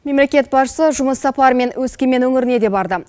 мемлекет басшысы жұмыс сапарымен өскемен өңіріне де барды